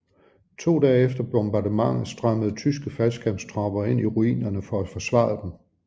To dage efter bombardementet strømmede tyske faldskærmstropper ind i ruinerne for at forsvare dem